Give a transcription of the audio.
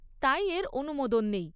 তাই এর অনুমোদন নেই।